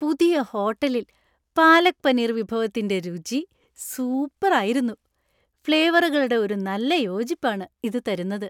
പുതിയ ഹോട്ടലില്‍ പാലക് പനീർ വിഭവത്തിന്‍റെ രുചി സൂപ്പര്‍ ആയിരുന്നു; ഫ്ലേവറുകളുടെ ഒരു നല്ല യോജിപ്പാണ് ഇത് തരുന്നത്.